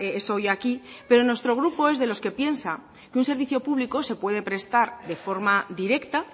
eso hoy aquí pero nuestro grupo es de los que piensa que un servicio público se puede prestar de forma directa